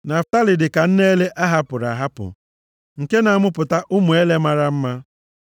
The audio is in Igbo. “Naftalị dịka nne ele a hapụrụ ahapụ, nke na-amụpụta ụmụ ele mara mma.